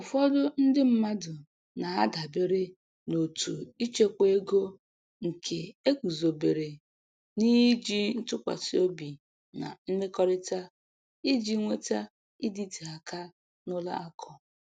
Ụfọdụ ndị mmadụ na-adabere n’òtù ịchekwa ego nke e guzobere n’iji ntụkwasị obi na mmekọrịta, iji nweta ịdịte aka n’ụlọ akụ.